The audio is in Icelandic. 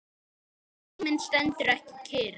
Tíminn stendur ekki kyrr.